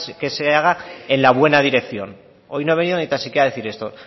se haga en la buena dirección hoy no he venido ni tan siquiera a decir esto